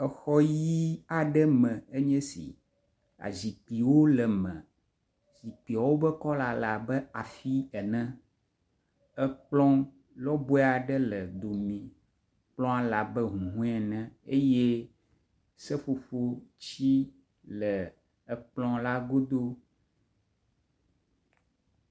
Exɔ ʋɛ̃ aɖe me enye si, zikpuiwo le me, zikpuiawo be kɔla le abe afi ene, ekplɔ lɔbɔe aɖe le dome. Kplɔa le abe ahuhɔe ene eye seƒoƒo ti le ekplɔ la godo.